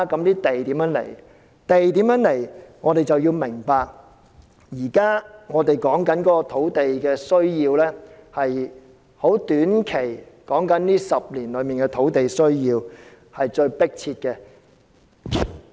就地從何來這問題，我們必須明白當前討論的土地需要是短期的需要，而這10年內的土地需要是最迫切的。